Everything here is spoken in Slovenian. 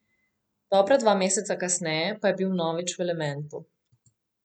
Dobra dva meseca kasneje pa je bil vnovič v elementu.